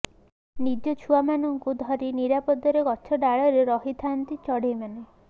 ନିଜ ଛୁଆମାନଙ୍କୁ ଧରି ନିରାପଦରେ ଗଛ ଡାଳରେ ରହିଥାନ୍ତି ଚଢ଼େଇମାନେ